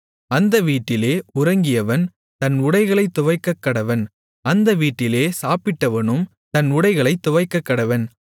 அந்த வீட்டிலே உறங்கியவன் தன் உடைகளைத் துவைக்கக்கடவன் அந்த வீட்டிலே சாப்பிட்டவனும் தன் உடைகளைத் துவைக்கக்கடவன்